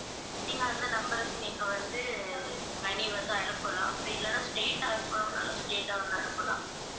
நீங்க அந்த number க்கு நீங்க வந்து money வந்து அனுப்பலாம் அப்படி இல்லனா straight ஆ அனுப்பணும்னாலும் straight ஆ வந்து அனுப்பலாம்